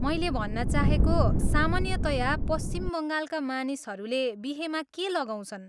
मैले भन्न चाहेको, सामान्यतया पश्चिम बङ्गालका मानिसहरूले बिहेमा के लगाउँछन्।